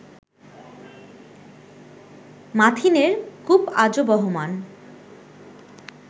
মাথিনের কূপ আজো বহমান